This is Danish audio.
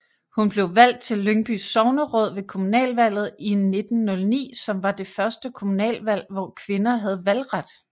Hun blev valgt til Lyngbys sogneråd ved kommunalvalget i 1909 som var det første kommunalvalg hvor kvinder havde valgret